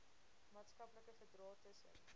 maatskaplike verdrae tussen